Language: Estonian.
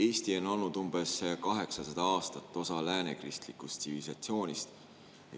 Eesti on olnud umbes 800 aastat osa läänekristlikust tsivilisatsioonist.